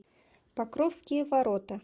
покровские ворота